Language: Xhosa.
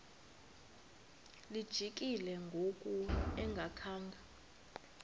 lijikile ngoku engakhanga